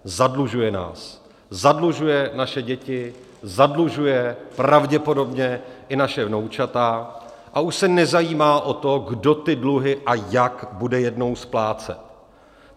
Zadlužuje nás, zadlužuje naše děti, zadlužuje pravděpodobně i naše vnoučata a už se nezajímá o to, kdo ty dluhy a jak bude jednou splácet.